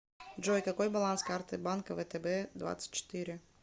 джой какой баланс карты банка втб двадцать четыре